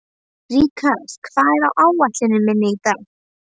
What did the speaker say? Rikharð, hvað er á áætluninni minni í dag?